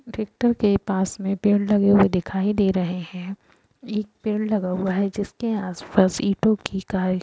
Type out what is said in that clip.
tractor के पास में पेड़ लगे हुए दिखाई दे रहे हैं एक पेड़ लगा हुआ है जिसके आसपास ईटो की --